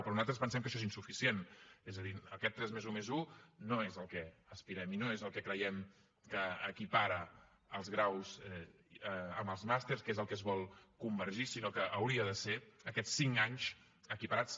però nosaltres pensem que això és insuficient és a dir aquest tres+un+un no és al que aspirem i no és el que creiem que equipara els graus amb els màsters que és al que es vol convergir sinó que haurien de ser aquests cinc anys equiparats